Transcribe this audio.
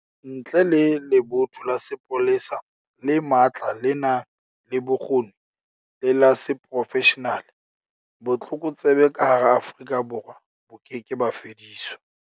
Ntle le lebotho la sepolesa le matla le nang le bokgoni le la seprofeshenale, botlokotsebe ka hara Afrika Borwa bo keke ba fediswa